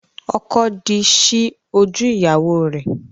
Ọkọ the ṣi ojú ìyáwo rẹ.